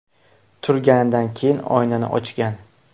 Turganidan keyin oynani ochgan.